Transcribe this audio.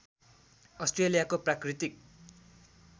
अस्ट्रेलियाको प्राकृतिक